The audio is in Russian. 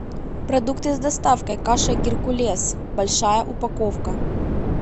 продукты с доставкой каша геркулес большая упаковка